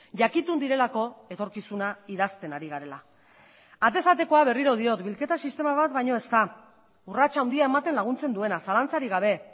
jakitun direlako etorkizuna idazten ari garela atez atekoa berriro diot bilketa sistema bat baino ez da urrats handia ematen laguntzen duena zalantzarik gabe